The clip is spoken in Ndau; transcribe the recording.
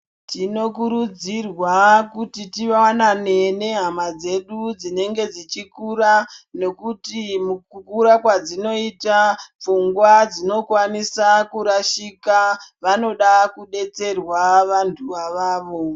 Tinokurudzirwa kuti tivanane nehama dzedu dzinenge dzichikura, nokuti mukukura kwadzinoita pfungwa dzinokwanisa kurashika, vanoda kudetserwa vantu avavo .